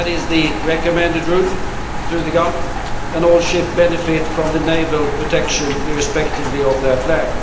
That is the recommended route through the Gulf, and all ships benefit from naval protection irrespective of their flag.